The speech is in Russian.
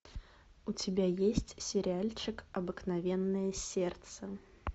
у тебя есть сериальчик обыкновенное сердце